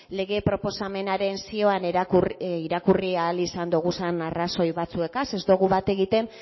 lege proposamenaren zioan irakurri ahal izan doguzan arrazoi batzuekaz ez dogu bat egiten